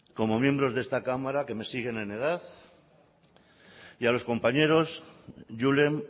como miembros de esta cámara que me siguen en edad y a los compañeros julen